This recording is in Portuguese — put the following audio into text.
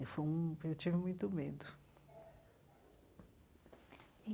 Foi um eu tive muito medo.